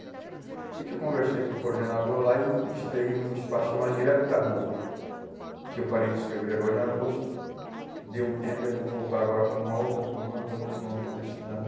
Aí que eu conversei com o coordenador lá e e estreei um espaço chamado Direto da Rua, que eu parei de escrever agora em agosto, dei um tempo e vou voltar agora com uma outra coluna, com outro nome que eu estou estudando.